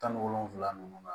Tan ni wolonfula ninnu